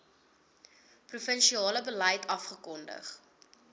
provinsiale beleid afgekondig